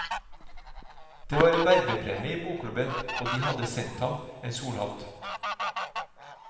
Det var en vervepremie i bokklubben, og de hadde sendt ham en solhatt.